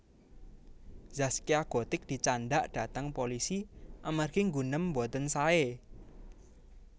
Zaskia Gotik dicandhak dhateng polisi amargi nggunem mboten sae